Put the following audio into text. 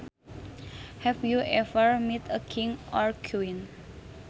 Have you ever met a king or queen